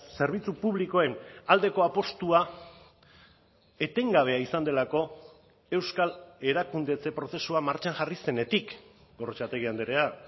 zerbitzu publikoen aldeko apustua etengabea izan delako euskal erakundetze prozesua martxan jarri zenetik gorrotxategi andrea